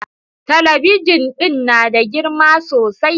Talabijin din na da girma sosai